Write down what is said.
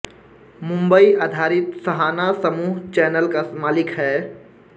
मुंबई आधारित सहाना समूह चैनल का मालिक है